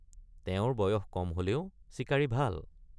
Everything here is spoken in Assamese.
তেওঁৰ বয়স কম হলেও চিকাৰী ভাল।